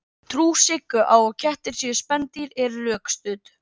Trú Siggu á að kettir séu spendýr er rökstudd.